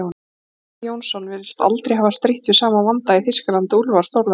Bjarni Jónsson virðist aldrei hafa strítt við sama vanda í Þýskalandi og Úlfar Þórðarson.